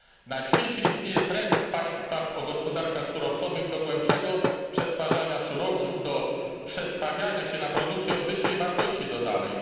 Na świecie istnieje trend w państwach o gospodarkach surowcowych do głębszego przetwarzania surowców, do przestawiania się na produkcję o wyższej wartości dodanej.